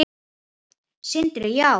Sindri: Já?